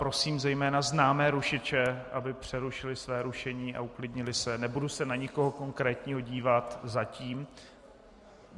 Prosím zejména známé rušiče, aby přerušili své rušení a uklidnili se, nebudu se na nikoho konkrétně dívat - zatím.